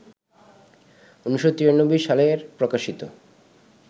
১৯৯৩ সালের প্রকাশিত